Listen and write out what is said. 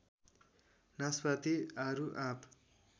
नासपाती आरु आप